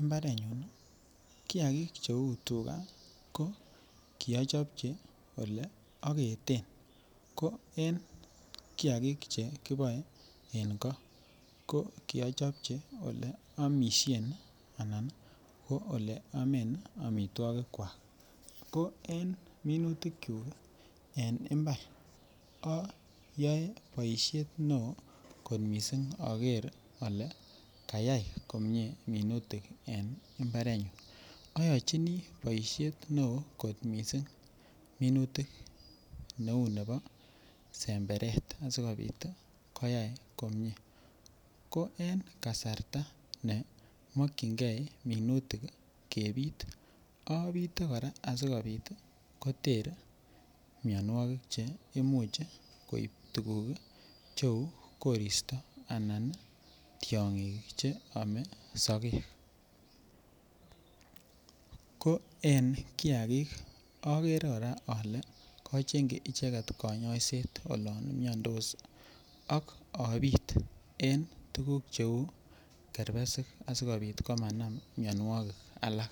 imbarenyun kiakik cheuu tukaa ko kiochopchi olee oketen, ko en kiakik chekiboe en koo ko kiochopchi olee omishen anan oleomen amitwokikwak, ko en minutikyuk en imbar oyoe boishet neoo kot mising oker olee kayai komnye minutik komnye en imbarenyun, oyochini boishet neoo kot mising minutik neuu nebo semberet asikobit koyai komnye, ko en kasarta nemokyinge minutik kebit obite kora asikobit koter mionwokik cheimuch koib tukuk cheuu koristo anan tiong'ik cheome sokek, ko en kiakik okere kora olee kochengyi icheket konyoiset oloon miondos ak obiit en tukuk cheuu kerbesik asikobit komanam mionwokik alak.